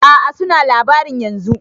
A'a suna labarin yanzun